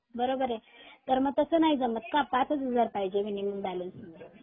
बरोबर आहे तर मग तस नाही जमत का पाच हजार च पाहिजे मिनिमम बँलन्स